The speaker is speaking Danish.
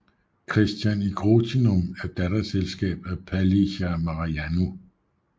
Christian í Grótinum er datterselskab af Palli hjá Mariannu